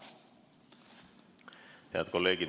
Head kolleegid!